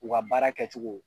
U ka baara kɛcogo